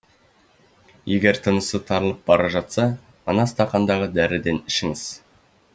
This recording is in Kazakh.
егер тынысы тарылып бара жатса мына стақандағы дәріден ішііңіз